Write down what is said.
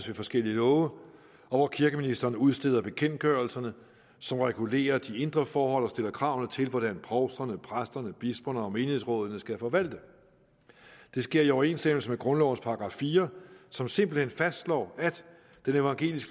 ved forskellige love og hvor kirkeministeren udsteder bekendtgørelserne som regulerer de indre forhold og stiller krav til hvordan provsterne præsterne bisperne og menighedsrådene skal forvalte det sker i overensstemmelse med grundlovens § fire som simpelt hen fastslår at den evangelisk